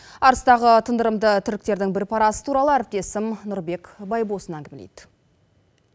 арыстағы тындырымды тірліктердің бір парасы туралы әріптесім нұрбек байбосын әңгімелейді